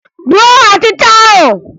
Gbuo ọchịcha ahụ!